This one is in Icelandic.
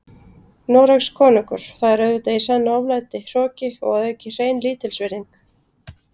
Noregskonungur, það er auðvitað í senn oflæti, hroki og að auki hrein lítilsvirðing.